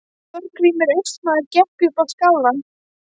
Þorgrímur Austmaður gekk upp á skálann.